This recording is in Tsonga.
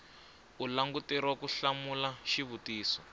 u languteriwa ku hlamula xivutiso